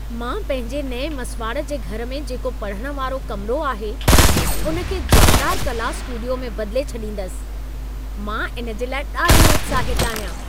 मां पंहिंजे नएं मसिवाड़ जे घर में जेको पढ़ण वारो कमिरो आहे, उन खे जानदार कला स्टूडियो में बदिले छॾींदसि। मां इन जे लाइ ॾाढी उत्साहित आहियां।